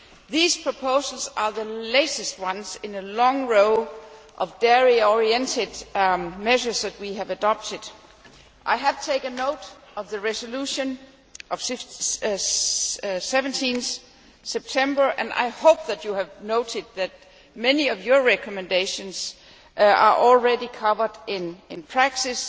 These proposals are the latest in a long series of dairy oriented measures that we have adopted. I have taken note of your resolution of 17 September, and I hope you have noted that many of your recommendations are already covered in practice,